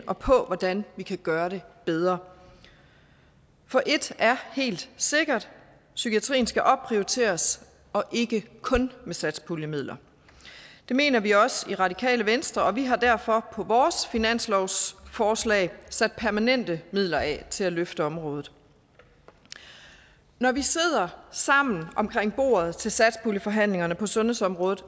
og på hvordan vi kan gøre det bedre for et er helt sikkert psykiatrien skal opprioriteres og ikke kun med satspuljemidler det mener vi også i radikale venstre og vi har derfor på vores finanslovsforslag sat permanente midler af til at løfte området når vi sidder sammen omkring bordet til satspuljeforhandlingerne på sundhedsområdet